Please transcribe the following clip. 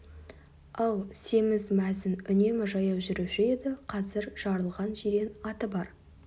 ал семіз мәзін үнемі жаяу жүруші еді қазір жарылған жирен аты бар